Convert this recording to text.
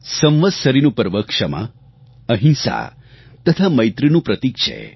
સંવત્સરીનું પર્વ ક્ષમા અહિંસા તથા મૈત્રીનું પ્રતિક છે